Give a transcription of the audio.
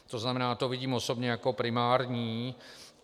To znamená, to vidím osobně jako primární.